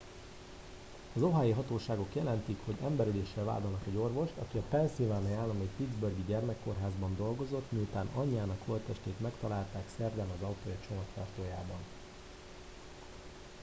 az ohiói hatóságok jelentik hogy emberöléssel vádolnak egy orvost aki a pennsylvania állambeli pittsburghi gyermekkórházban dolgozott miután anyjának holttestét megtalálták szerdán az autója csomagtartójában